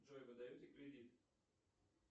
джой вы даете кредит